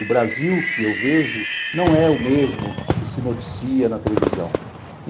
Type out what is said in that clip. O Brasil que eu vejo não é o mesmo que se noticia na televisão.